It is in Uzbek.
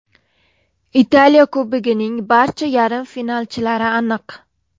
Italiya Kubogining barcha yarim finalchilari aniq.